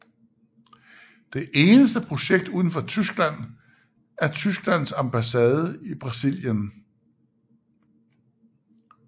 Det eneste projekt uden for Tyskland er Tysklands ambasse i Brasilien